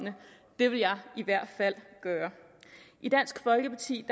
det ville jeg i hvert fald gøre i dansk folkeparti